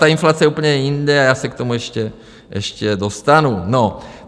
Ta inflace je úplně jinde a já se k tomu ještě dostanu.